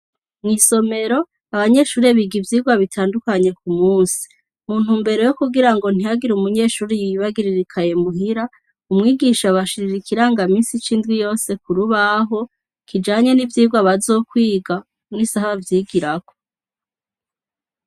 Mw'isomero, abanyeshure biga ivyigwa bitandukanye ku munsi. Mu ntumbero yo kugira ngo ntihagire umunyeshure yibagirira ikaye muhira, umwigisha abashirira ikirangaminsi c'indwi yose ku rubaho, kijanye n'ivyigwa bazokwiga n'isaha bavyigirako.